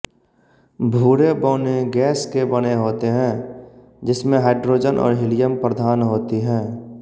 भूरे बौने गैस के बने होते हैं जिसमें हाइड्रोजन और हिलियम प्रधान होती हैं